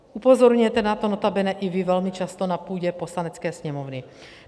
Upozorňujete na to notabene i vy velmi často na půdě Poslanecké sněmovny.